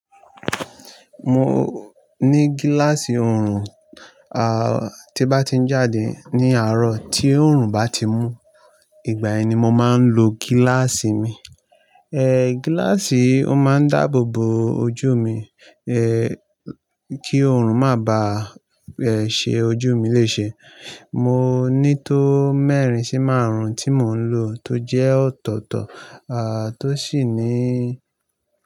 Mo ní gíláàsì ọrùn, à tí bá ti ń jáde ní àárọ̀ tí ọrùn bá ti mú, ìgbà ẹni mo máa ń lo gíláàsì mi. Eh, gíláàsì ó máa ń dáàbò bo ojú mi eh kí ọrùn má bá ṣe ojú mi lè ṣe. Mo ní tó mẹ́rin sí márùn-ún tí mò ń lò tó jẹ́ ọ̀tọ̀ọ̀tọ̀ à tó sì ní.